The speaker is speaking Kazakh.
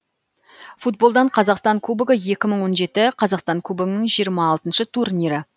футболдан қазақстан кубогы екі мың он жеті қазақстан кубогының жиырма алтыншы турнирі